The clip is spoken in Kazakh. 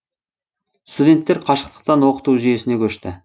студенттер қашықтықтан оқыту жүйесіне көшті